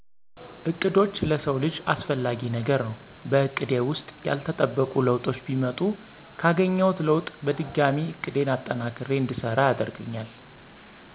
እቅዶች ለሰው ልጀ አሰፍላጊ ነገር ነው በእቀዴ ውሰጥ ያለተጠበቆ ለውጡች ቢመጡ ካገኝውት ለውጥ በድጋሚ እቅዴን አጠናክሪ እድሰራ ያደርገኛል።